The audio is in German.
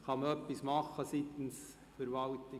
Kann die Verwaltung etwas dagegen tun